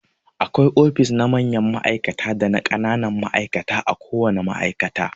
Akwai ofis na mayan ma'aikata dana ƙananan ma'aikata a ko wana ma'aikata.